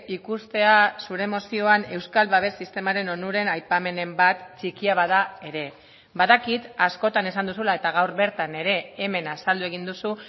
ikustea zure mozioan euskal babes sistemaren onuren aipamenen bat txikia bada ere badakit askotan esan duzula eta gaur bertan ere hemen azaldu egin duzu